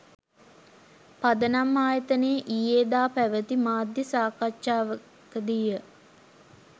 පදනම් ආයතනයේ ඊයේ දා පැවැති මාධ්‍ය සාකච්ඡාවකදීය